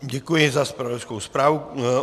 Děkuji za zpravodajskou zprávu.